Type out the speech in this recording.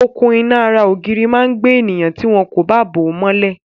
Okùn-iná ara ògiri máa gbé ènìyàn tí wọn kò bá bò ó mọ́lẹ̀.